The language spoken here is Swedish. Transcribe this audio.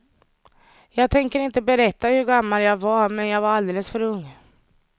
Jag tänker inte berätta hur gammal jag var men jag var alldeles för ung.